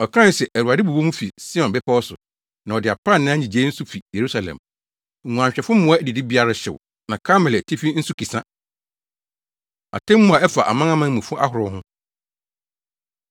Ɔkae se, “ Awurade bobɔ mu fi Sion bepɔw so na ɔde aprannaa nnyigyei nso fi Yerusalem; nguanhwɛfo mmoa adidibea rehyew na Karmel atifi nso kisa.” Atemmu A Ɛfa Amanamanmufo Ahorow Ho